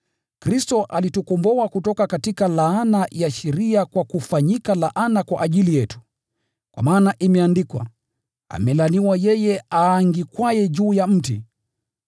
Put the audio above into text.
Kristo alitukomboa kutoka laana ya sheria kwa kufanyika laana kwa ajili yetu, kwa maana imeandikwa, “Amelaaniwa yeye aangikwaye juu ya mti.”